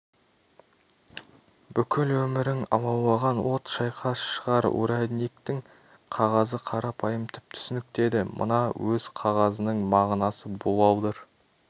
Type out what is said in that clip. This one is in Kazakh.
бүкіл өмірің алаулаған от шайқас шығар урядниктің қағазы қарапайым түп-түсінікті еді мына өз қағазының мағынасы буалдыр